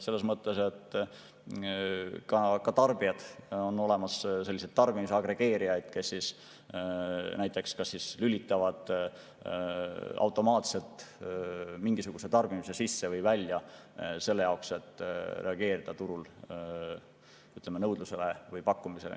Selles mõttes, et on olemas sellised tarbimisagregeerijad näiteks, kes lülitavad automaatselt mingisuguse tarbimise sisse või välja, et reageerida turul nõudlusele või pakkumisele.